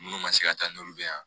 Minnu ma se ka taa n'olu bɛ yan